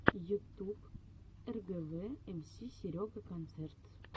ютуб эргэвэ эмси серега концерт